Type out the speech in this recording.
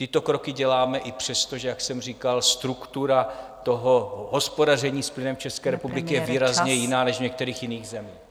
Tyto kroky děláme i přesto, že jak jsem říkal, struktura toho hospodaření s plynem České republiky je výrazně jiná než v některých jiných zemích.